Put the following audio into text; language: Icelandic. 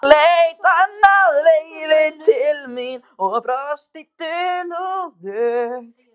Hún leit annað veifið til mín og brosti dulúðugt.